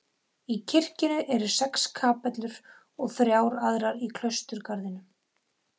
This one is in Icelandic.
Í kirkjunni eru sex kapellur og þrjár aðrar í klausturgarðinum.